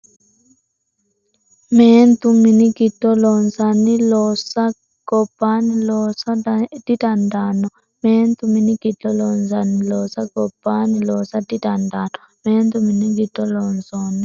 Meentu mini giddo loonsanni loossa gobbaanni loosa didandaanno Meentu mini giddo loonsanni loossa gobbaanni loosa didandaanno Meentu mini giddo loonsanni.